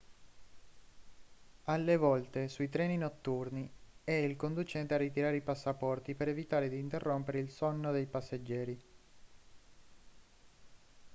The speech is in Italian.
alle volte sui treni notturni è il conducente a ritirare i passaporti per evitare di interrompere il sonno dei passeggeri